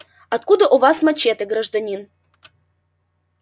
откуда у вас мачете гражданин